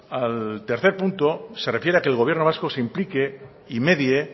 al tercer punto se refiere a que el gobierno vasco se implique y medie